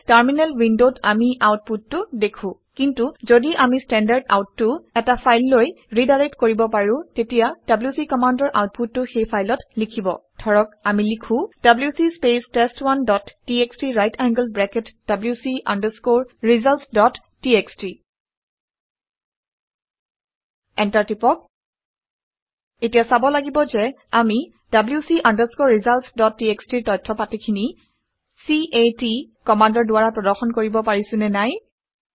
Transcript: গতিকে টাৰ্মিনেল উইনডত আমি আউট পুটটো দেখো। কিন্তু ঘদি আমি ষ্টেণ্ডাৰ্ড আউট Standardout টো এটা ফাইললৈ ৰিডাইৰেক্ট কৰিব পাৰো তেতিয়া ডব্লিউচি কমাণ্ডৰ আউটপুটটো সেই ফাইলত লিখিব। ধৰক আমি লিখো - WC space test one dot TXT right angled bracket wc results dot TXT enter press কৰক। এতিয়া চাব লাগিব যে আমি wc results ডট txt ৰ তথ্য পাতিখিনি c a ট কমাণ্ডৰ দ্বাৰা প্ৰদৰ্শন কৰিব পাৰিছোঁ নে নাই